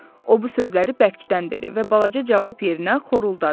O bu sözləri bərkdən dedi və balaca cavab yerinə xoruldadı.